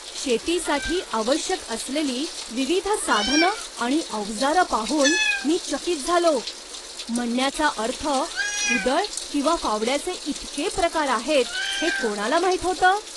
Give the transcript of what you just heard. शेतीसाठी आवश्यक असलेली विविध साधनं आणि अवजारं पाहून मी चकित झालो. म्हणण्याचा अर्थ, कुदळ किंवा फावड्याचे इतके प्रकार आहेत हे कोणाला माहीत होतं?